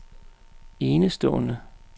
enestående